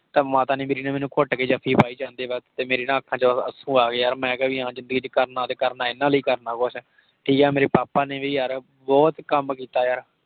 ਤਾਂ ਮਾਤਾ ਮੇਰੀ ਨੇ ਮੈਨੂੰ ਘੁੱਟ ਕੇ ਜੱਫੀ ਪਾਈ ਜਾਂਦੇ ਵਖ਼ਤ। ਤੇ ਮੇਰੀ ਨਾ ਅੱਖਾਂ ਵਿੱਚੋ ਹੰਜੂ ਆ ਗਏ ਯਾਰ, ਮੈਂ ਕਿਹਾ ਭੀ ਹਾਂ ਜੇ ਜਿੰਦਗੀ ਵਿਚ ਕਰਨਾ ਤੇ ਕਰਨਾ ਇਹਨਾਂ ਲਈ ਕਰਨਾ ਕੁਛ। ਠੀਕ ਹੈ। ਮੇਰੇ papa ਨੇ ਵੀ ਯਾਰ ਬਹੁਤ ਕੱਮ ਕੀਤਾ ਯਾਰ।